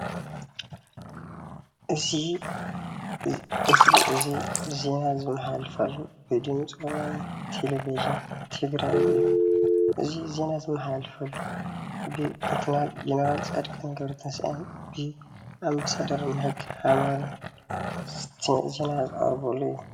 እዚ ምስሊ እዚ ዜና ዝመሓላለፈሉ ብድምፂ ወያነ ቴለቭዥን ትግራይ እዩ፡፡ እዚ ዜና ዝመሓለለፈሉ ብሌተናል ጀነራል ፃድቃን ገ/ትንሳኤን ኣምባሳደር ማይክ ሃመር ዜና ዝቀርበሉ እዩ፡፡